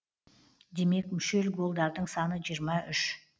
демек мүшел голдардың саны жиырма үш